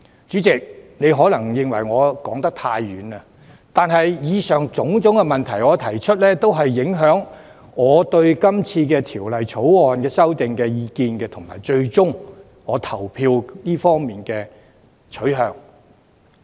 主席，你或會認為我說得太遠，但以上種種問題都影響我對《條例草案》的意見及最終的投票取向。